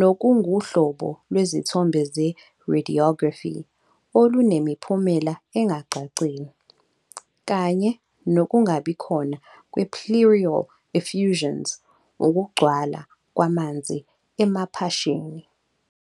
nokunguhlobo lwezithombe ze-radiography olunemiphumela engacacile, kanye nokungabikhona kwe-pleural effusions, ukugcwala kwamanzi emaphashini.